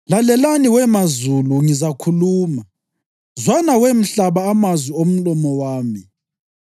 “Lalelani, we mazulu, ngizakhuluma, zwana, we mhlaba, amazwi omlomo wami.